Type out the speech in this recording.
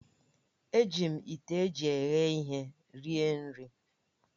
Eji m ite eji eghe ihe rie nri